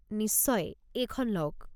নিশ্চয়, এইখন লওক।